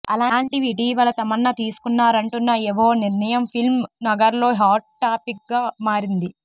అలాంటిది ఇటీవల తమన్నా తీసుకున్నారంటున్న ఓ నిర్ణయం ఫిల్మ్ నగర్లో హాట్ టాపిక్గా మారింది